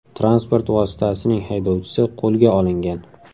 Transport vositasining haydovchisi qo‘lga olingan.